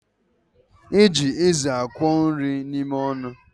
Eji eze akwọ nri n'ime ọnụ